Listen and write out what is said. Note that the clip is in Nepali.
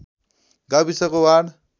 गाविसको वार्ड